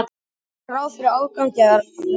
Gera ráð fyrir afgangi af rekstri